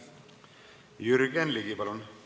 Jürgen Ligi, palun!